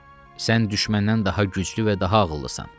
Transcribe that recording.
Sən düşməndən daha güclü və daha ağıllısan.